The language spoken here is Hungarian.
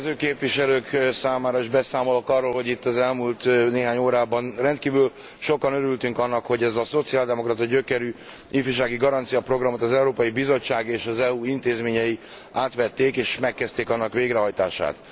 az érkező képviselők számára is beszámolok arról, hogy itt az elmúlt néhány órában rendkívül sokan örültünk annak, hogy ezt a szociáldemokrata gyökerű ifjúsági garancia programot az Európai Bizottság és az EU intézményei átvették, és megkezdték végrehajtását.